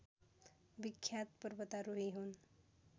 विख्यात पर्वतारोही हुन्।